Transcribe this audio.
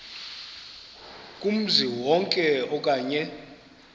kumzi wonke okanye